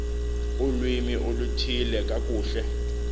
ulwimi oluthile kakuhle